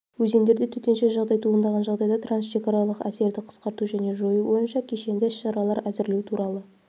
өзендерде төтенше жағдай туындағын жағдайда трансшекаралық әсерді қысқарту және жою бойынша кешенді іс-шаралар әзірлеу туралы